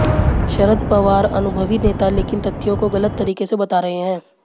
शरद पवार अनुभवी नेता लेकिन तथ्यों को गलत तरीके से बता रहे हैं